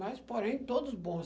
Mas, porém, todos bons.